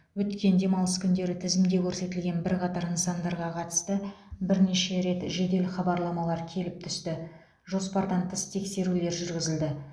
өткен демалыс күндері тізімде көрсетілген бірқатар нысандарға қатысты бірнеше рет жедел хабарламалар келіп түсті жоспардан тыс тексерулер жүргізілді